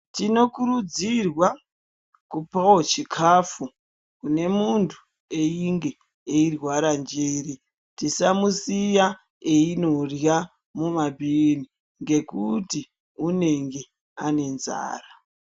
Tinokurudzirwa, kupawo chikafu, kune munthu einge eirwara njere. Tisamusiya einorya mumabhini, ngekuti unenge anenzara.